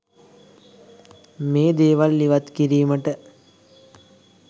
මේ දේවල් ඉවත් කිරීමට